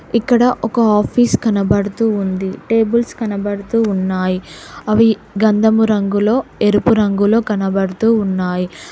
ఇక్కడ ఒక ఆఫీస్ కనబడుతూ ఉంది టేబుల్స్ కనబడుతూ ఉన్నాయి అవి గంధము రంగులో ఎరుపు రంగులో కనబడుతూ ఉన్నాయి.